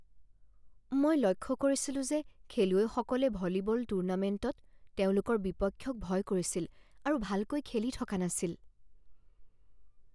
মই লক্ষ্য কৰিছিলো যে খেলুৱৈসকলে ভলীবল টুৰ্ণামেণ্টত তেওঁলোকৰ বিপক্ষক ভয় কৰিছিল আৰু ভালকৈ খেলি থকা নাছিল।